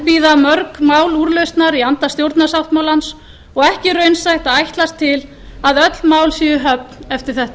enn bíða mörg mál úrlausnar í anda stjórnarsáttmálans og ekki raunsætt að ætlast til að öll mál séu í höfn eftir þetta